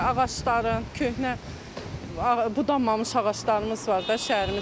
Ağacların, köhnə bu dumamış ağaclarımız var da şəhərimizdə.